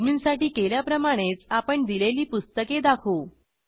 adminसाठी केल्याप्रमाणेच आपण दिलेली पुस्तके दाखवू